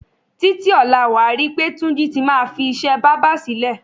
Títí ò̩la, wà á ri pé Túnjí ti máa fi is̩é̩ bábà sílè̩.